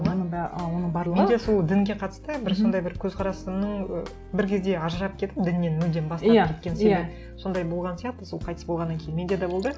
оны да ы оның барлығы менде сол дінге қатысты бір сондай бір көзқарасымның і бір кезде ажырап кеттім діннен мүлдем бас тартып кеткен себеп сондай болған сияқты сол қайтыс болғаннан кейін менде де болды